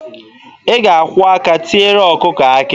Ị ga-akwọ aka tiere ọkụkọ akị.